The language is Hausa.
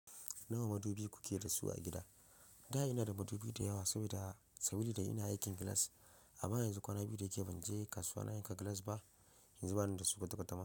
Nawa madubi kuke da su a gida? Da ina da madubi da yawa saboda, saboda ina aikin gilas. Amma yanzu kwana biyu da ke banje kasuwa na yanka gilas ba, yanzu bani da su kwata kwatama.